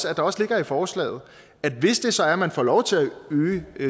at der også ligger i forslaget at hvis det så er man får lov til at øge